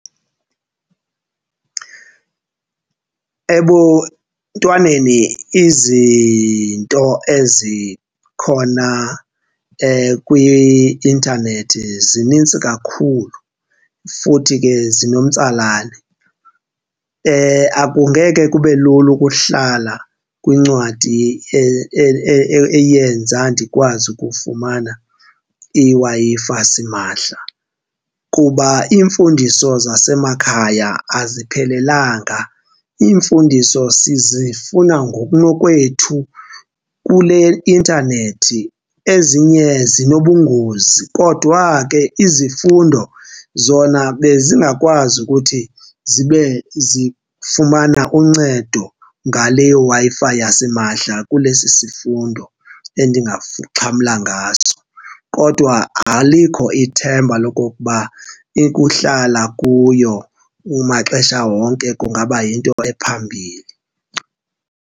Ebuntwaneni izinto ezikhona kwi-intanethi zinintsi kakhulu futhi ke zinomtsalane. Akungeke kube lula ukuhlala kwincwadi eyenza ndikwazi ukufumana iWi-Fi simahla kuba iimfundiso zasemakhaya aziphelelanga. Iimfundiso sizifuna ngokunokwethu kule intanethi, ezinye zinobungozi kodwa ke izifundo zona bezingakwazi ukuthi zibe zifumana uncedo ngale Wi-Fi yasimahla kule sisifundo endingaxhamla ngaso. Kodwa alikho ithemba lokokuba ukuhlala kuyo kumaxesha wonke kungaba yinto ephambili.